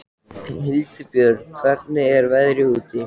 Hildibjörg, hvernig er veðrið úti?